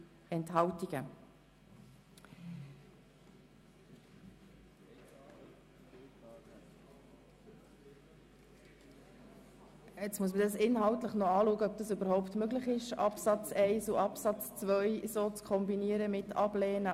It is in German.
Nun muss ich inhaltlich anschauen, ob es überhaupt möglich ist, Absatz 1 abzulehnen und Absatz 2 anzunehmen.